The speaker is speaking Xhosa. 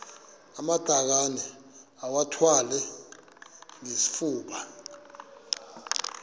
amatakane iwathwale ngesifuba